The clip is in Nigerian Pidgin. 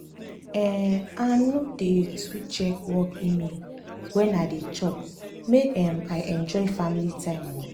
um i no dey too check work email wen i dey chop make um i enjoy family time. um